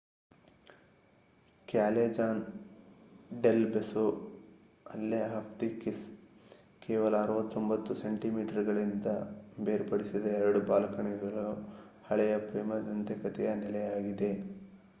Callejon del Beso alley of the kiss. ಕೇವಲ 69 ಸೆಂಟಿಮೀಟರ್‌ಗಳಿಂದ ಬೇರ್ಪಡಿಸಿದ 2 ಬಾಲ್ಕನಿಗಳು ಹಳೆಯ ಪ್ರೇಮ ದಂತಕಥೆಯ ನೆಲೆಯಾಗಿದೆ